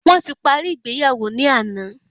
Wọn ti paríi ìgbéyàwó ni àná